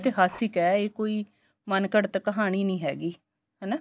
ਇਹ ਇਤਿਹਾਸਕ ਏ ਇਹ ਕੋਈ ਮੰਨਘੜਤ ਕਹਾਣੀ ਨੀਂ ਹੈਗੀ ਹਨਾ